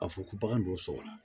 A fɔ ko bagan don so la